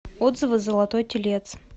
отзывы золотой телец